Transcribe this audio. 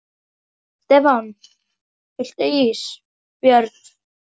Stefán: Viltu ís Björn?